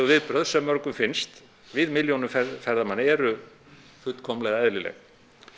viðbrögð sem mörgum finnst við milljónum ferðamanna eru fullkomlega eðlileg